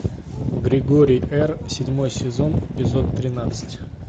григорий р седьмой сезон эпизод тринадцать